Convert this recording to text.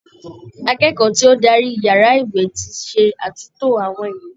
Akẹ́kọ̀ọ́ tí ó dárí yàrá ìwé ti ṣe àtúntó àwọn ìwé.